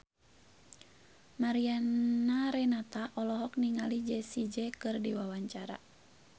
Mariana Renata olohok ningali Jessie J keur diwawancara